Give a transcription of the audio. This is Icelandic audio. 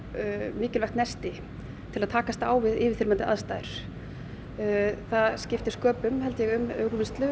mikilvægt nesti til að takast á við yfirþyrmandi aðstæður það skiptir sköpum held ég við úrvinnslu